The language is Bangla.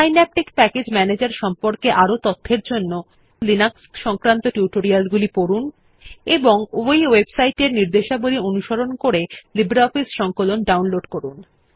সিন্যাপটিক প্যাকেজ ম্যানেজের সম্পর্কে আরও তথ্যের জন্য লিনাক্স সংক্রান্ত টিউটোরিয়ালগুলি পড়ুন এবং এই ওয়েবসাইট নির্দেশাবলী অনুসরণ করে লিব্রিঅফিস সংকলন ডাউনলোড করুন